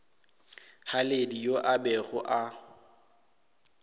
haledi yo a bego a